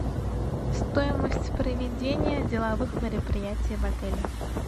стоимость проведения деловых мероприятий в отеле